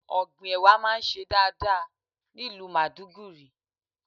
Ọ̀gbìn Ẹ̀wà máa ń ṣe dáadáa ní ìlú Maiduguri.